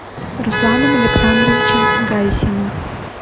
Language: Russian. русланом александровичем гайсиным